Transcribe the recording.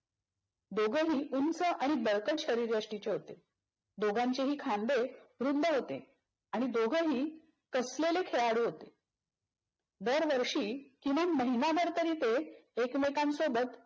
दोघंही उंच आणि बळकट शरीरीयष्टीचे होते. दोघांचेही खांदे रुंद होते आणि दोघेही कसलेले खेळाडू होते. दर वर्षी किमान महिनाभर तरी ते एकमेकांसोबत